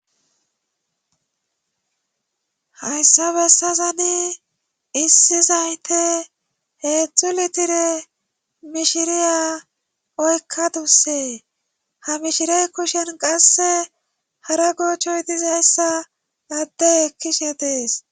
hayssa bessazani issi zayte heedzdzu litire mishiriya oykkadusse ha mishirey kushen qasse hara goochchoy dizayssa addey ekkishe dees